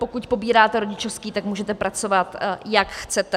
Pokud pobíráte rodičovský, tak můžete pracovat, jak chcete.